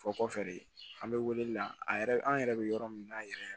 Fɔ kɔfɛ de an be wele la a yɛrɛ an yɛrɛ be yɔrɔ min na yɛrɛ